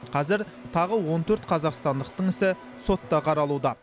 қазір тағы он төрт қазақстандықтың ісі сотта қаралуда